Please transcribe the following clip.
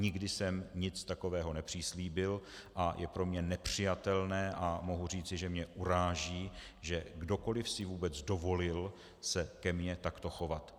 Nikdy jsem nic takového nepřislíbil a je pro mě nepřijatelné a mohu říci, že mě uráží, že kdokoli si vůbec dovolil se ke mně takto chovat.